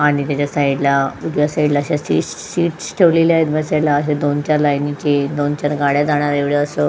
आणि त्याच्या साईड ला उजव्या साईड ला ठेवलेला आहेत बसायला दोनचार लाईनी ची दोनचार गाड्या जाणार एवढं असं --